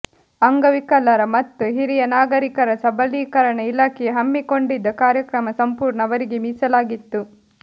ಅಂಗವಿಕಲರ ಮತ್ತು ಹಿರಿಯ ನಾಗರಿಕರ ಸಬಲೀಕರಣ ಇಲಾಖೆಯು ಹಮ್ಮಿಕೊಂಡಿದ್ದ ಕಾರ್ಯಕ್ರಮ ಸಂಪೂರ್ಣ ಅವರಿಗೇ ಮೀಸಲಾಗಿತ್ತು